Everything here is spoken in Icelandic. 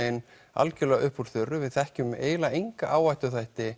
algjörlega upp úr þurru við þekkjum eiginlega enga áhættuþætti